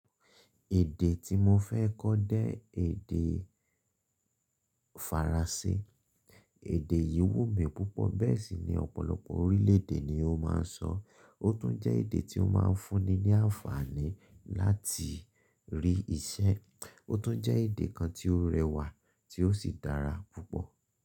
Èdè tí mo fẹ́ kọ́ jẹ́ èdè Faransé. Èdè yìí wù mí púpọ̀ bẹ́ẹ̀ sì ni ọ̀pọ̀lọpọ̀ orílédé ni ó máa ń sọ. Ó tún jẹ́ èdè tí ó máa ń fúnni ní àǹfààní láti rí iṣẹ́. Ó tún jẹ́ èdè kan tí ó rẹwà tí ó sì dára púpọ̀.